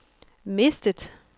mistet